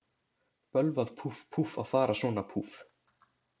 Bölvað, púff, púff, að fara svona, púff.